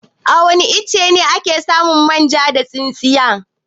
Awani iccen ake samun manja da tsintsiya?